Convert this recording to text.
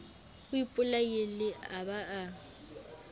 o ipolaile a ba a